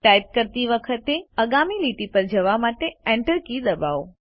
type કરતી વખતે આગામી લીટી પર જવા માટે Enter કી દબાવો